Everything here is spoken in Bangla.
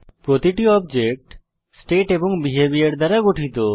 প্রতিটি অবজেক্ট স্টেট এবং বিহেভিওর দ্বারা গঠিত